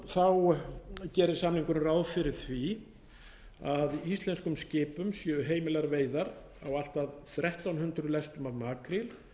að lokum gerir samningurinn ráð fyrir því að íslenskum skipum verði heimilaðar veiðar á allt að þrettán hundruð lestum af makríl